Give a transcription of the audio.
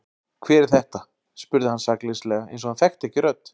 Hver er þetta? spurði hann sakleysislega eins og hann þekkti ekki rödd